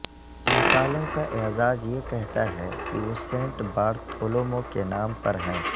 ان سالوں کا اعزاز یہ کہتا ہے کہ وہ سینٹ بارتھولومو کے نام پر ہیں